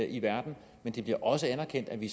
i verden men det bliver også anerkendt at vi